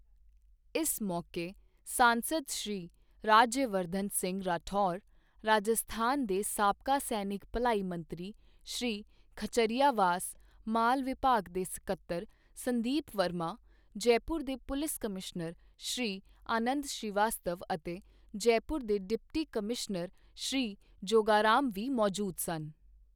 ਇਸ ਮੌਕੇ ਸਾਂਸਦ ਸ਼੍ਰੀ ਰਾਜਯਵਰਧਨ ਸਿੰਘ ਰਾਠੌਰ, ਰਾਜਸਥਾਨ ਦੇ ਸਾਬਕਾ ਸੈਨਿਕ ਭਲਾਈ ਮੰਤਰੀ ਸ਼੍ਰੀ ਖਚਾਰੀਆਵਾਸ, ਮਾਲ ਵਿਭਾਗ ਦੇ ਸਕੱਤਰ ਸੰਦੀਪ ਵਰਮਾ, ਜੈਪੁਰ ਦੇ ਪੁਲਿਸ ਕਮਿਸ਼ਨਰ ਸ਼੍ਰੀ ਆਨੰਦ ਸ਼੍ਰੀਵਾਸਤਵ ਅਤੇ ਜੈਪੁਰ ਦੇ ਡਿਪਟੀ ਕਮਿਸ਼ਨਰ ਸ਼੍ਰੀ ਜੋਗਾਰਾਮ ਵੀ ਮੌਜੂਦ ਸਨ।